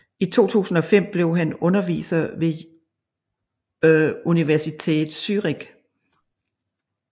I 2005 blev han underviser ved Universität Zürich